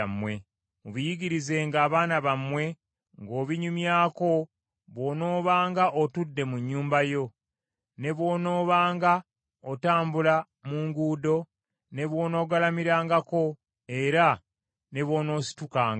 Mubiyigirizenga abaana bammwe, ng’obinyumyako bw’onoobanga otudde mu nnyumba yo, ne bw’onoobanga otambula mu nguudo; ne bw’onoogalamirangako, era ne bw’onoositukanga.